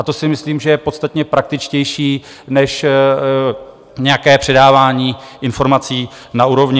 A to si myslím, že je podstatně praktičtější než nějaké předávání informací na úrovni.